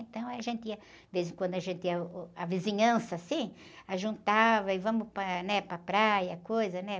Então, a gente ia, de vez em quando, a gente ia, uh, a vizinhança, assim, juntava e vamos para, né? Para a praia, coisa, né?